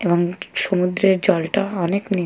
এবং সমুদ্রের জলটা অনেক নীল।